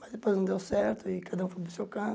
Mas depois não deu certo e cada um foi para o seu